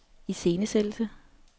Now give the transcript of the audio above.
iscenesættelse